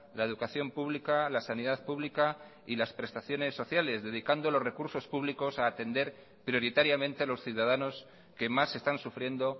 la educación pública la sanidad pública y las prestaciones sociales dedicando los recursospúblicos a atender prioritariamente a los ciudadanos que más están sufriendo